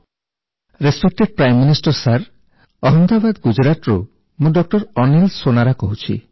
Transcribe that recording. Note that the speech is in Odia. respected prime minister sir Ahmedabad ଗୁଜରାଟରୁ ମୁଁ ଡଃ ଅନୀଲ ସୋନାରା କହୁଛି